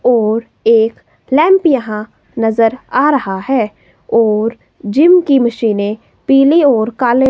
और एक लैंप यहां नज़र आ रहा है और जिम की मशीनें पीली और काले--